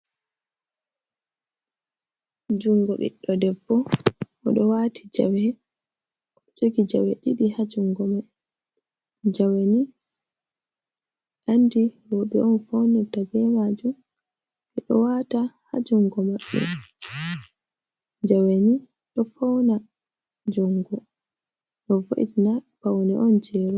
Jungo ɓiɗɗo debbo. O ɗo waati jawe, jogi jawe ɗiɗi ha jungo mai. Jawe ni andi rowɓe on faunirta be maajum. Ɓe ɗo waata ha jungo maɓɓe. Jawe ni ɗo fauna jungo, ɗo vo'itina, paune on jei rowɓe.